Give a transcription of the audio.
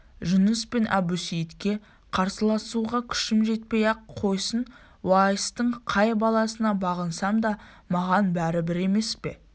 жұныс пен әбусейітке қарсыласуға күшім жетпей-ақ қойсын уайстың қай баласына бағынсам да маған бәрібір емес пе